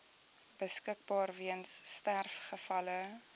beskikbaar weens sterfgevalle